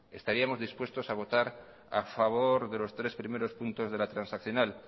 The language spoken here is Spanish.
estaríamos dispuestos a votar a favor de los tres primeros puestos puntos de la transaccional